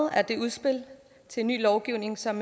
af det udspil til en ny lovgivning som